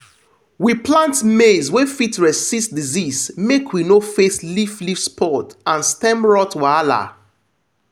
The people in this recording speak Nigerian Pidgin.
we plant maize wey fit resist disease make we no face leaf leaf spot and stem rot wahala.